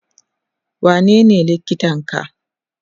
wanene likitan ka?